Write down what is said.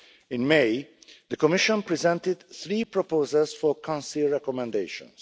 In May, the Commission presented three proposals for Council recommendations.